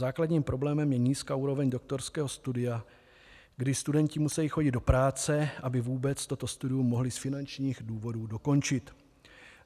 Základním problémem je nízká úroveň doktorského studia, kdy studenti musí chodit do práce, aby vůbec toto studium mohli z finančních důvodů dokončit.